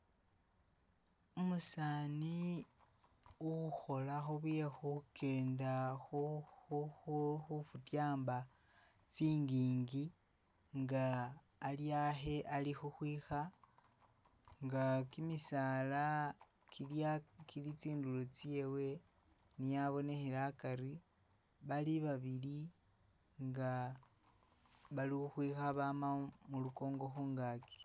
Umusani ukhola khubyekhukenda khu-khu-khu futyamba tsingingi nga ali ahe alikhukhwikha nga kimisala kilia kili tsindulo tsewe niye abonekhela akari bali babili nga bali ukwikha bama mulukongo khungaki